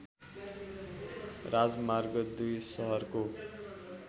राजमार्ग २ सहरको